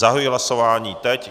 Zahajuji hlasování teď.